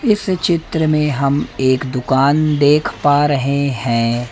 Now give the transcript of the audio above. इस चित्र में हम एक दुकान देख पा रहे हैं।